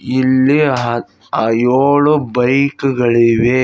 ಇಲ್ಲಿ ಅದ್ ಅ ಎಳು ಬೈಕ್ ಗಳಿವೆ.